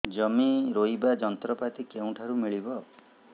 ଜମି ରୋଇବା ଯନ୍ତ୍ରପାତି କେଉଁଠାରୁ ମିଳିବ